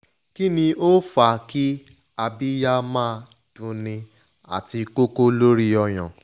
kini o n fa ki abiya ma dun ni ati koko lori oyan